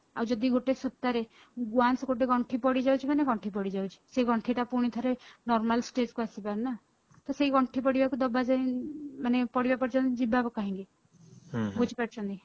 ଆଉ ଯଦି ଗୋଟେ ସୂତାରେ once ଗୋଟେ ଗଣ୍ଠି ପଡି ଯାଉଛି ମାନେ ଗଣ୍ଠି ପଡି ଯାଉଛି ସେ ଗଣ୍ଠି ଟା ପୁଣି ଥରେ normal stage କୁ ଆସିପାରୁଛନି ନା ତ ସେଇ ଗଣ୍ଠି ପଡିବାକୁ ଦବାଯାଏ ମାନେ ପଡିବା ପର୍ଯ୍ୟନ୍ତ ଯିବା କାହିଁକି ବୁଝି ପାରୁଛନ୍ତି